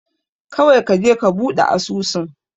Kawai kaje ka buɗe asusun.